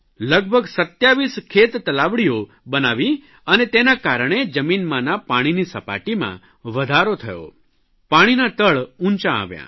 લગભગ 27 ખેતતલાવડીઓ બનાવી અને તેના કારણે જમીનમાંના પાણીની સપાટીમાં વધારો થયો પાણીનાં તળ ઊંચાં આવ્યાં